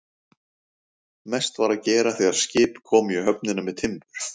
Mest var að gera þegar skip komu í höfnina með timbur.